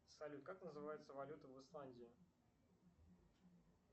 салют как называется валюта в исландии